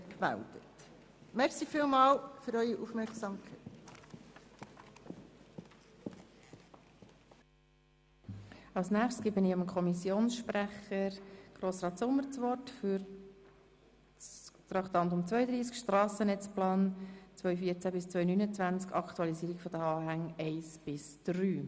Nun erteile ich Grossrat Sommer als Kommissionssprecher das Wort zum Traktandum 32, «Strassennetzplan 2014–2029, Aktualisierung der Anhänge 1 bis 3».